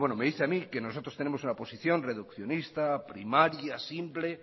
me dice a mí que nosotros tenemos una posición reduccionista primaria simple